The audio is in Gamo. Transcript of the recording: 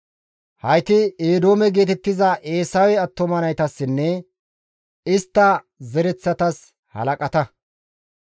Hayti Eedoome geetettiza Eesawe attuma naytassinne istta zereththatas halaqata.